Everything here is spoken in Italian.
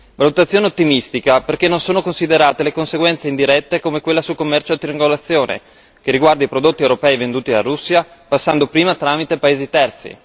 Valutazione ottimistica perché non sono considerate le conseguenze indirette come quella sul commercio a triangolazione, che riguarda i prodotti europei venduti alla Russia passando prima tramite paesi terzi.